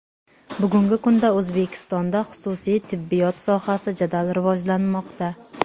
Bugungi kunda O‘zbekistonda xususiy tibbiyot sohasi jadal rivojlanmoqda.